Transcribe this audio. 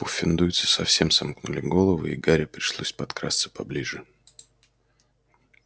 пуффендуйцы совсем сомкнули головы и гарри пришлось подкрасться поближе